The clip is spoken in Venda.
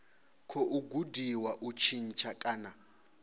khou gudiwa u tshintsha kana